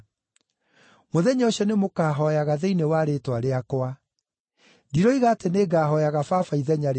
Mũthenya ũcio nĩmũkahooyaga thĩinĩ wa rĩĩtwa rĩakwa. Ndiroiga atĩ nĩngahooyaga Baba ithenya rĩanyu.